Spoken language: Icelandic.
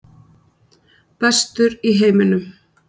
Bestur í heiminum?